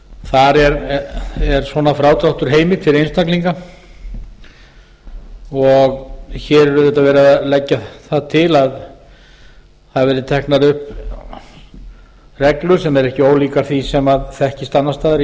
þar er svona frádráttur heimill fyrir einstaklinga og hér er auðvitað verið að leggja það til að það verði teknar upp reglur sem eru ekki ólíkar því sem þekkist annars